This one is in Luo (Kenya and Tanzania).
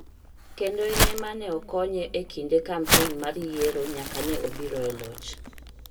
kendo en e ma ne okonye e kinde kampen mar yiero nyaka ne obiro e loch.